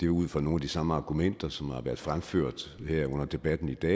var ud fra nogle af de samme argumenter som har været fremført her under debatten i dag